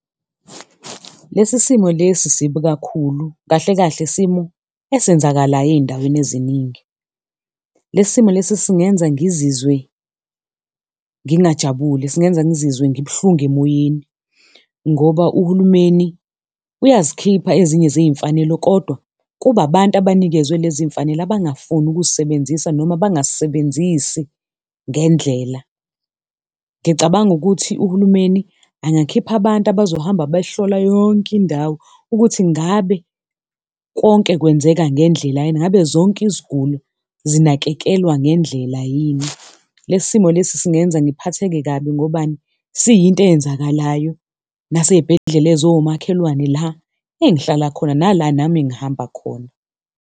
Lesi simo lesi sibi kakhulu, kahle kahle simo esenzakalayo ey'ndaweni eziningi. Lesi simo lesi singenza ngizizwe ngingajabule, singenza ngizizwe ngibuhlungu emoyeni ngoba uhulumeni uyazikhipha ezinye zey'mfanelo kodwa kuba abantu abanikezwe lezi y'mfanelo abangafuni ukuzisebenzisa noma abangazisebenzisi ngendlela. Ngicabanga ukuthi uhulumeni angakhipha abantu abazohamba behlola yonke indawo ukuthi ngabe konke kwenzeka ngendlela yini, ngabe zonke iziguli zinakekelwa ngendlela yini. Lesi simo lesi singenza ngiphatheke kabi, ngobani? Siyinto eyenzakalayo nasey'bhedlela eziwomakhelwane la engihlala khona, nala nami engihamba khona.